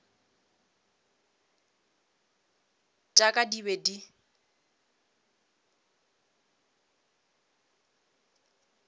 tša ka di be di